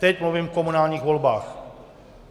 Teď mluvím o komunálních volbách.